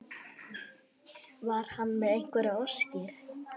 Var hann með einhverjar óskir?